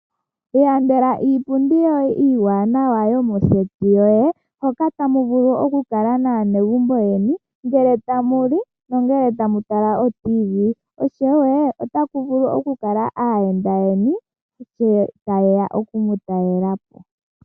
Iilandela iipundi yoye iiwanawa yomoseti yoye moka tamu vulu okukala naanegumbo lyeni ngele tamu li nongele tamu tala oTV oshowo Otaku vulu oku kala aayenda yeni sho tayeya oku mu talelapo.